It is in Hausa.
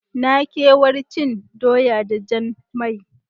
Na kewar cin doya da jan mai.